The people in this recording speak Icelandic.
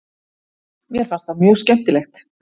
Mér fannst það mjög skemmtilegt.